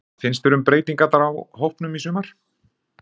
Hvað finnst þér um breytingarnar á hópnum í sumar?